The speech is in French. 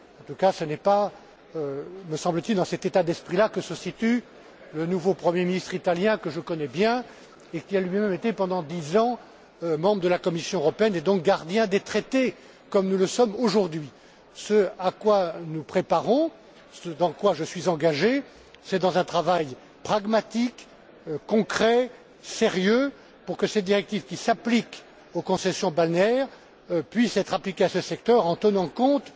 En tout cas, ce n'est pas, me semble t il, dans cet état d'esprit que se trouve le nouveau premier ministre italien, que je connais bien, et qui a lui même été pendant dix ans membre de la Commission européenne, et donc gardien des traités comme nous le sommes aujourd'hui. Ce à quoi nous nous préparons, ce dans quoi je suis engagé, c'est un travail pragmatique, concret, sérieux pour que cette directive qui couvre les concessions balnéaires puisse être appliquée à ce secteur en tenant compte,